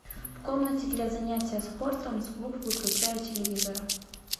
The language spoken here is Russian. в комнате для занятия спортом звук выключай у телевизора